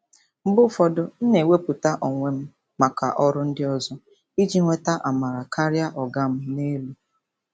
Mgbe ụfọdụ, m na-ewepụta onwe m maka ọrụ ndị ọzọ iji nweta amara karịa "ọga m n'elu."